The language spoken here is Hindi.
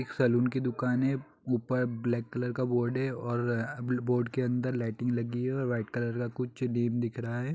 एक सलून की दुकान है ऊपर ब्लेक कलर का बोर्ड है और अ बोर्ड के अंदर लाईटिंग लगी है और वाईट कलर का कुछ नेम दिख रहा हैं।